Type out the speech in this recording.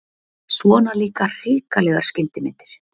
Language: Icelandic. Svona líka hrikalegar skyndimyndir!